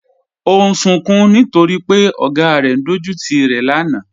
Ọ̀ n sùǹkún nítorí pẹ̀ ogá rẹ̀ n dọjútì rẹ̀ lánà